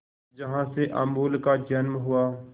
जहां से अमूल का जन्म हुआ